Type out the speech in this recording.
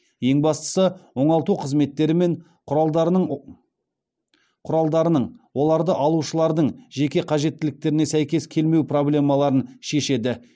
ең бастысы оңалту қызметтері мен құралдарының оларды алушылардың жеке қажеттіліктеріне сәйкес келмеу проблемаларын шешеді